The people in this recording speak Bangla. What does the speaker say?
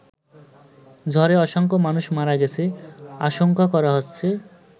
ঝড়ে অসংখ্য মানুষ মারা গেছে আশংকা করা হচ্ছে।